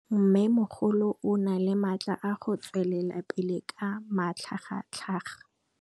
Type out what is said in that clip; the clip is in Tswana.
Mmêmogolo o na le matla a go tswelela pele ka matlhagatlhaga.